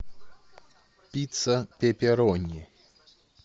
пицца пепперони